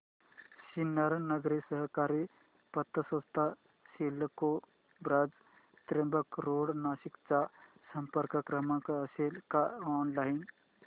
सिन्नर नागरी सहकारी पतसंस्था CIDCO branch Trimbak road Nashik चा संपर्क क्रमांक असेल का ऑनलाइन